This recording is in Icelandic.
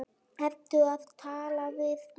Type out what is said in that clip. Ertu að tala við mig?